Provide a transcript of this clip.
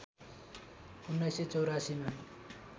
१९८४ मा